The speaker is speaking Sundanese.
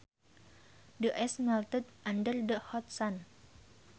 The ice melted under the hot sun